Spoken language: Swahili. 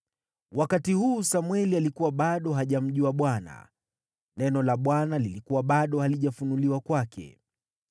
Wakati huu Samweli alikuwa bado hajamjua Bwana . Neno la Bwana lilikuwa bado halijafunuliwa kwake.